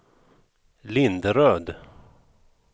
Linderöd